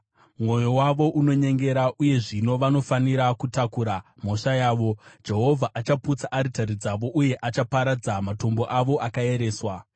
Mwoyo wavo unonyengera, uye zvino vanofanira kutakura mhosva yavo. Jehovha achaputsa aritari dzavo uye achaparadza matombo avo akaereswa.